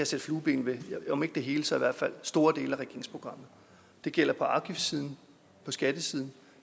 sætte flueben ved om ikke det hele så i hvert fald store dele af regeringsprogrammet det gælder på afgiftssiden skattesiden